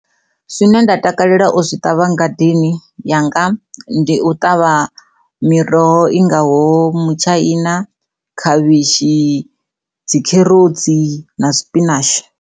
Zwine nda takalela u zwi ṱavha ngadeni yanga ndi u ṱavha miroho i ngaho mitshaina, dzikherotsi na sipinashi.